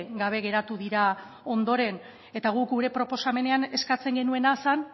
gabe geratu dira ondoren eta guk gure proposamenean eskatzen genuena zen